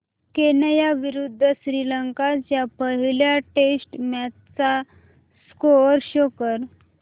Kenya विरुद्ध श्रीलंका च्या पहिल्या टेस्ट मॅच चा स्कोअर शो कर